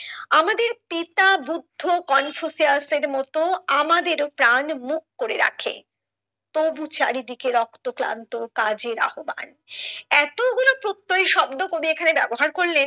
আমাদের পিতা বুদ্ধ কনফুসিয়াস এর মতো আমাদের প্রাণ মুখ করে রাখে তবু চারিদিকে রক্ত ক্লান্ত কাজের আহব্বান এতো গুলো প্রত্যয়ী শব্দ কবি এখানে ব্যবহার করলেন